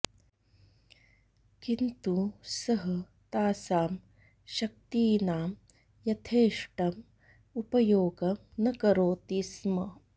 किन्तु सः तासां शक्तीनां यथेष्टम् उपयोगं न करोति स्म